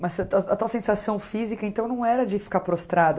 Mas a tua sensação física, então, não era de ficar prostrada?